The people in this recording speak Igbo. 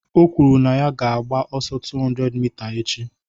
O kwuru na ya ga-agba ọsọ 200 mita echi